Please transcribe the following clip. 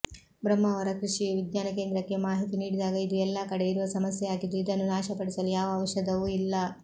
ಬ್ರಹ್ಮಾವರ ಕೃಷಿ ವಿಜ್ಞಾನಕೇಂದ್ರಕ್ಕೆ ಮಾಹಿತಿ ನೀಡಿದಾಗ ಇದು ಎಲ್ಲಾ ಕಡೆ ಇರುವ ಸಮಸ್ಯೆಯಾಗಿದ್ದು ಇದನ್ನು ನಾಶಪಡಿಸಲು ಯಾವ ಜೌಷಧವೂ ಇಲ್ಲ